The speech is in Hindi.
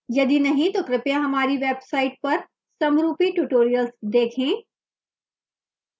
यदि नहीं तो कृपया हमारी website पर समरूपी tutorials देखें